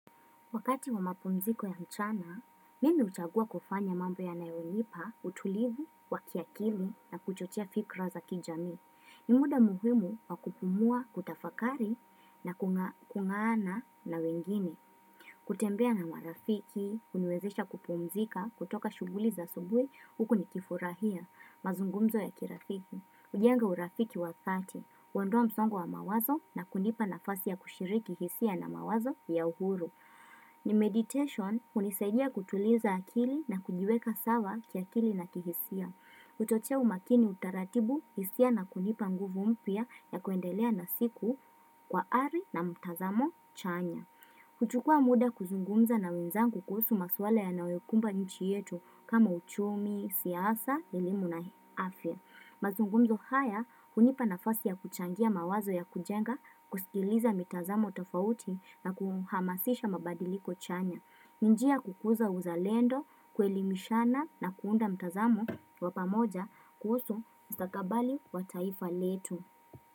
Wakati wa mapumziko ya mchana, mimi huchagua kufanya mambo yanayonipa, utulivu, wakiakili na kuchotia fikra za kijami. Ni muda muhimu wa kupumua, kutafakari na kungaana na wengine. Kutembea na marafiki, huniwezesha kupumzika, kutoka shughuli za asubuhi, huku nikifurahia, mazungumzo ya kirafiki. Hujenga urafiki wa dhati, huondoa msongo wa mawazo na kunipa nafasi ya kushiriki hisia na mawazo ya uhuru. Ni meditation, hunisaidia kutuliza akili na kujiweka sawa kiakili na kihisia. Kutotia umakini utaratibu, hisia na kunipa nguvu mpya ya kuendelea na siku kwa ari na mtazamo chanya. Kuchukua muda kuzungumza na wenzangu kuhusu maswala yanayokumba nchi yetu kama uchumi, siasa, elimu na afya. Mazungumzo haya, hunipa nafasi ya kuchangia mawazo ya kujenga, kusikiliza mitazamo tofauti na kuhamasisha mabadiliko chanya. Ni njia kukuza uzalendo, kuelimishana na kuunda mitazamu wa pamoja kuhusu mstakabali wa taifa letu.